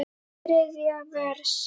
Þriðja vers.